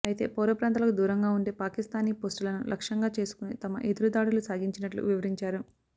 అయితే పౌర ప్రాంతాలకు దూరంగా ఉండే పాకిస్థానీ పోస్టులను లక్షంగా చేసుకుని తమ ఎదురుదాడులు సాగించినట్లు వివరించారు